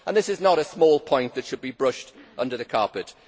This is not a small point that should be brushed under the carpet